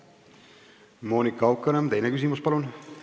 Monika Haukanõmm, teine küsimus, palun!